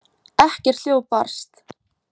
Ekkert hljóð barst.